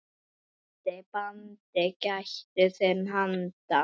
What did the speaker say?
Vanda, banda, gættu þinna handa.